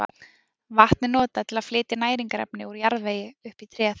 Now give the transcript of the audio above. Vatn er notað til að flytja næringarefni úr jarðvegi upp í tréð.